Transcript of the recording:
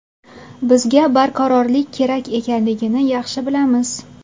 Bizga barqarorlik kerak ekanligini yaxshi bilamiz.